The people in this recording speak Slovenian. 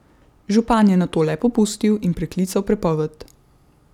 Župan je nato le popustil in preklical prepoved.